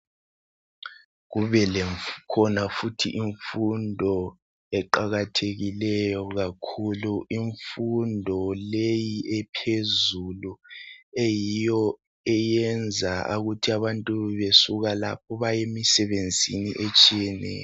Kubekhona futhi imfundo eqakathekileyo kakhulu imfundo leyi ephezulu eyiyo eyenza ukuthi abantu besuka lapho baye emisebenzini etshiyeneyo.